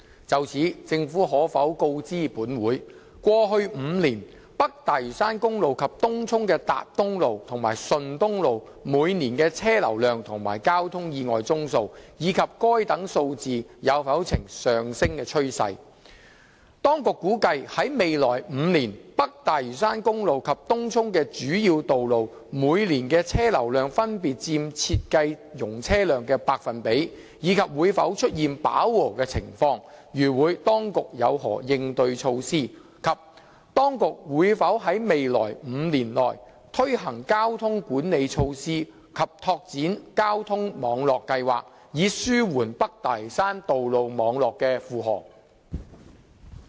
就此，政府可否告知本會：一過去5年，北大嶼山公路及東涌的達東路和順東路每年的車流量及交通意外宗數，以及該等數字有否呈上升趨勢；二當局估計在未來5年，北大嶼山公路及東涌的主要道路每年的車流量分別佔設計容車量的百分比，以及會否出現飽和情況；如會，當局有何應對措施；及三當局會否在未來5年內推行交通管理措施和拓展交通網絡計劃，以紓緩北大嶼山道路網絡的負荷？